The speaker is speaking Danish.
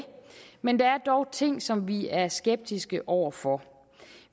men der er dog ting som vi er skeptiske over for